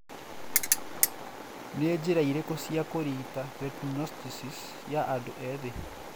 Nĩ njĩra irĩkũ cia kũrigita retinoschisis ya andũ ethĩ?